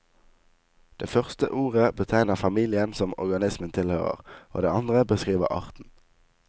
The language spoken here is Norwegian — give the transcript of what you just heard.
Det første ordet betegner familien som organismen tilhører, og det andre beskriver arten.